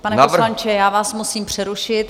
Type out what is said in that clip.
Pane poslanče, já vás musím přerušit.